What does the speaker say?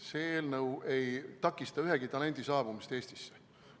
See eelnõu ei takista ühegi talendi saabumist Eestisse.